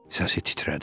Səsi titrədi.